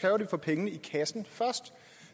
vi får pengene i kassen først